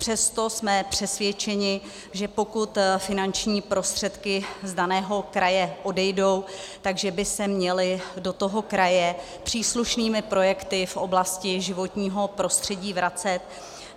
Přesto jsme přesvědčeni, že pokud finanční prostředky z daného kraje odejdou, tak by se měly do toho kraje příslušnými projekty v oblasti životního prostředí vracet.